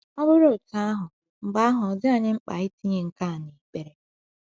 Ọ bụrụ otú ahụ, mgbe ahụ ọ dị anyị mkpa itinye nke a n’ekpere.